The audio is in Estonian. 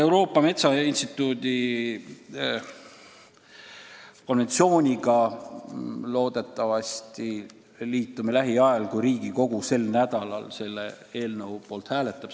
Euroopa Metsainstituudi konventsiooniga me loodetavasti liitume lähiajal, kui Riigikogu sel nädalal selle eelnõu poolt hääletab.